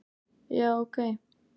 Já, ok